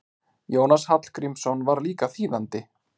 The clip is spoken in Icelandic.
Jónas Hallgrímsson var líka þýðandi.